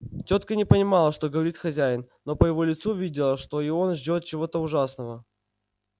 тётка не понимала что говорит хозяин но по его лицу видела что и он ждёт чего-то ужасного